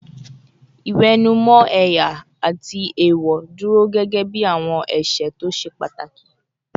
Ìwẹ̀nùmọ́ ẹ̀yà àti èèwọ̀ dúró gẹ́gẹ́ bí àwọn ẹ̀ṣẹ̀ tó ṣe pàtàkì